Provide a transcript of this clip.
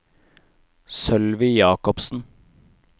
Sølvi Jacobsen